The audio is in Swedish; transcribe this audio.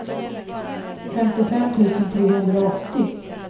femtiofem tusen trehundraåttio